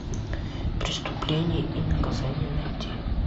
преступление и наказание найти